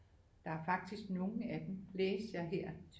Der er faktisk nogle af dem læste jeg her